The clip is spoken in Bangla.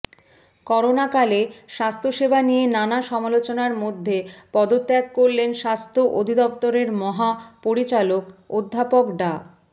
করোনাকালে স্বাস্থ্যসেবা নিয়ে নানা সমালোচনার মধ্যে পদত্যাগ করলেন স্বাস্থ্য অধিদপ্তরের মহাপরিচালক অধ্যাপক ডা